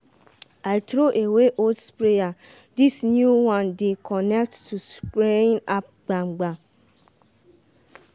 i throw away old sprayer this new one dey connect to spraying app gbagam.